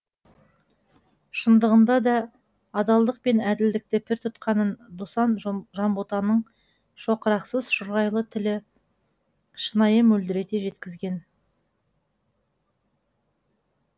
шындығында да адалдық пен әділдікті пір тұтқанын досан жанботаның шоқырақсыз шұрайлы тілі шынайы мөлдірете жеткізген